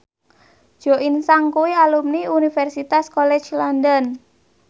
Jo In Sung kuwi alumni Universitas College London